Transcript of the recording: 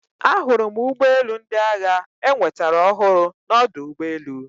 Ahụrụ m ụgbọ elu ndị agha enwetara ọhụrụ na ọdụ ụgbọ elu